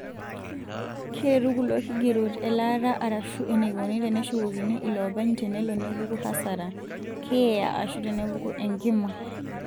Keretu kulo kigerot elaata arashu eneikoni teneshukokini ilopeny tenelo nepuku hasara, keeya ashua tenepuku enkima.